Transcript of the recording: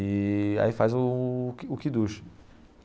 E aí faz o o Kiddush.